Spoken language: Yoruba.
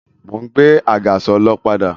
Mo ń gbé àgàsọ̀ lọ padà